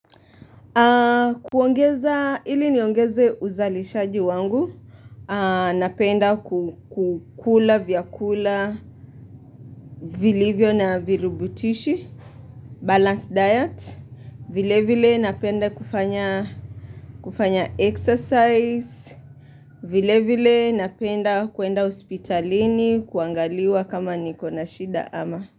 Kuongeza ili niongeze uzalishaji wangu Napenda kukula vyakula vilivyo na virubutishi balance diet vile vile napenda kufanya exercise vile vile napenda kuenda hospitalini kuangaliwa kama nikona shida ama.